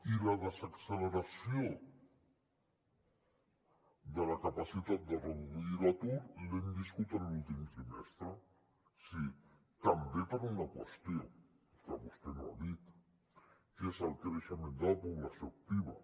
i la desacceleració de la capacitat de reduir l’atur l’hem viscut en l’últim trimestre sí també per una qüestió que vostè no ha dit que és el creixement de la població activa